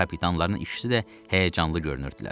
Kapitanların ikisi də həyəcanlı görünürdülər.